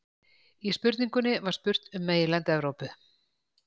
í spurningunni var spurt um meginland evrópu